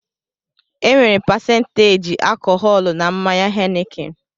Enwere pasenteji alkọhọlu na mmanya Henikin